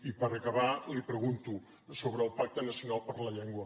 i per acabar li pregunto sobre el pacte nacional per la llengua